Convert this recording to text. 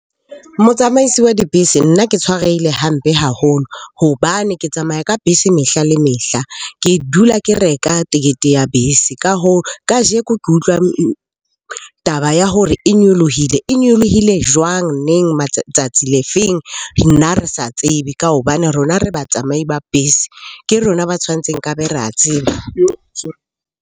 Motsamaisi wa dibese nna ke tshwarehile hampe haholo hobane ke tsamaya ka bese mehla le mehla, ke dula ke reka tekete ya bese. Ka hoo, kajeko ke utlwang taba ya hore e nyolohile. E nyolohile jwang? Neng? Tsatsi le feng? Nna re sa tsebe ka hobane rona re batsamai ba bese, ke rona ba tshwantseng nkabe re a tseba.